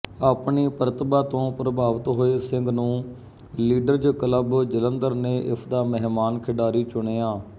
ਆਪਣੀ ਪ੍ਰਤਿਭਾ ਤੋਂ ਪ੍ਰਭਾਵਤ ਹੋਏ ਸਿੰਘ ਨੂੰ ਲੀਡਰਜ਼ ਕਲੱਬ ਜਲੰਧਰ ਨੇ ਇਸਦਾ ਮਹਿਮਾਨ ਖਿਡਾਰੀ ਚੁਣਿਆ